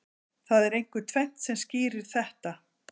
Það er einkum tvennt sem skýrir þetta.